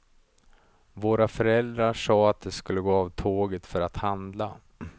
Våra föräldrar sa att de skulle gå av tåget för att handla.